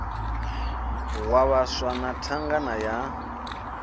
wa vhaswa na thangana ya